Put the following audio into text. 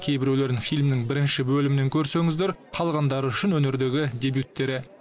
кейбіреулерін фильмнің бірінші бөлімінен көрсеңіздер қалғандары үшін өнердегі дебюттері